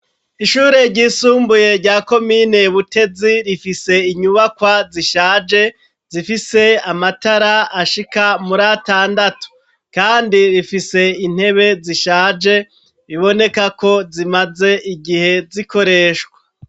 Ishure ryisumbuye rya komine Butezi, rifise inyubakwa zishaje, zifise amatara ashika muri atandatu. Kandi rifise intebe zishaje, biboneka ko zimaze igihe zikoreshwa.